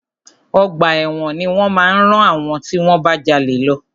Ọgbà ẹ̀wọ̀n ni wọ́n máa rán àwọn tí wọ́n bá jalè lọ.